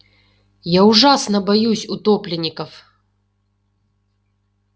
я ужасно боюсь утопленников